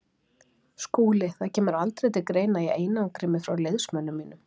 SKÚLI: Það kemur aldrei til greina að ég einangri mig frá liðsmönnum mínum.